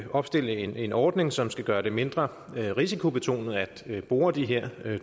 opstiller en en ordning som skal gøre det mindre risikobetonet at bore de her